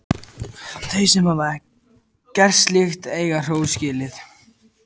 Þau sem hafa gert slíkt eiga hrós skilið.